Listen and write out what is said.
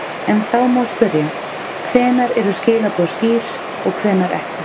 En þá má spyrja, hvenær eru skilaboð skýr og hvenær ekki?